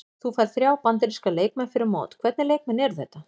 Þú færð þrjá Bandaríska leikmenn fyrir mót, hvernig leikmenn eru þetta?